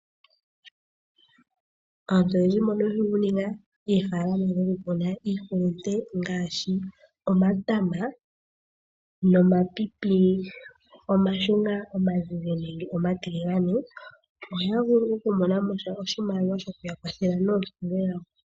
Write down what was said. Aantu oyendji oyakonga oofalama moka muna iihulunde ngaashi omatama, omapepe omashunga, omazize nenge omatiligane. Ohaya vulu woo okumonamo oshimaliwa shokuya kwathela moompumbwe dhawo.